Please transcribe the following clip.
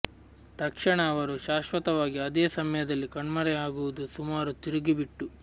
ತಕ್ಷಣ ಅವರು ಶಾಶ್ವತವಾಗಿ ಅದೇ ಸಮಯದಲ್ಲಿ ಕಣ್ಮರೆಯಾಗುವುದು ಸುಮಾರು ತಿರುಗಿ ಬಿಟ್ಟು